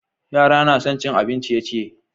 Yara na son cin abin ciye-ciye.